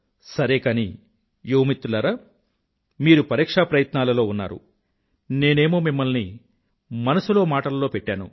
సరే కానీ యువమిత్రులారా మీరు పరీక్షా ప్రయత్నాలలో ఉన్నారు నేనేమో మిమ్మల్ని మనసులో మాటలలో పెట్టాను